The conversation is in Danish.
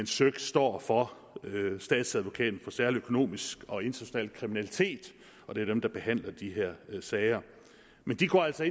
søik står for statsadvokaten for særlig økonomisk og international kriminalitet og det er dem der behandler de her sager de går altså